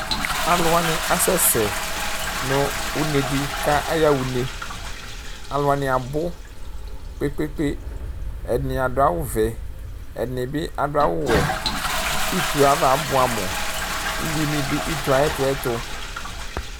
Alʋ wani asɛsɛ nʋ unedi kʋ ayaɣa une alʋ wani abʋ kpe kpe kpe ɛdini adʋ awʋvɛ ɛdini bi adʋ awʋwɛ kʋ itoe ava abʋeamʋ uwi ni dʋ ito ayʋ ɛtʋ ɛtʋ